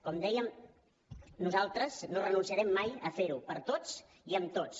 com dèiem nosaltres no renunciarem mai a ferho per tots i amb tots